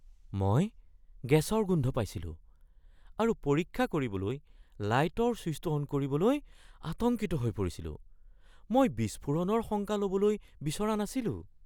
মই গেছৰ গোন্ধ পাইছিলো আৰু পৰীক্ষা কৰিবলৈ লাইটৰ চুইছটো অন কৰিবলৈ আতংকিত হৈ পৰিছিলোঁ। মই বিস্ফোৰণৰ শংকা ল'ব বিচৰা নাছিলোঁ।